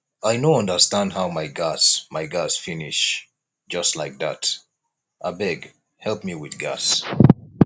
i no understand how my gas my gas finish just like dat abeg help me with gas